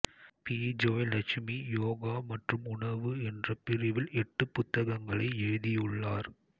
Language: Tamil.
பிஜோய்லட்சுமி யோகா மற்றும் உணவு என்ற பிரிவில் எட்டு புத்தகங்களை எழுதியுள்ளார்